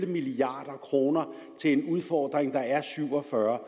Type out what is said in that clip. milliard kroner til en udfordring der er syv og fyrre